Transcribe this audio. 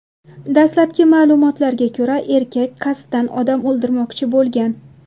Dastlabki ma’lumotlarga ko‘ra, erkak qasddan odam o‘ldirmoqchi bo‘lgan.